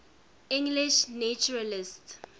english naturalists